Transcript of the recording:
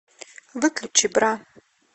выключи бра